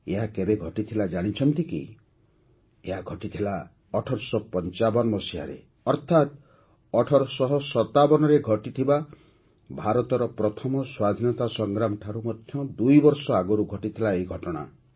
ଏହା କେବେ ଘଟିଥିଲା ଜାଣିଛନ୍ତି କି ଏହା ଘଟିଥିଲା ୧୮୫୫ ମସିହାରେ ଅର୍ଥାତ୍ ୧୮୫୭ରେ ଘଟିଥିବା ଭାରତର ପ୍ରଥମ ସ୍ୱାଧୀନତା ସଂଗ୍ରାମଠାରୁ ମଧ୍ୟ ଦୁଇବର୍ଷ ଆଗରୁ ଘଟିଥିଲା ଏହି ଘଟଣା